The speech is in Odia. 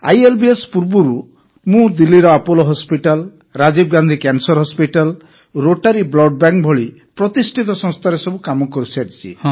ଆଇଏଲବିଏସ୍ ପୂର୍ବରୁ ମଧ୍ୟ ମୁଁ ଦିଲ୍ଲୀର Apollo hospital Rajiv Gandhi cancer hospital Rotary blood bank ଭଳି ପ୍ରତିଷ୍ଠିତ ସଂସ୍ଥାରେ କାମ କରିସାରିଛି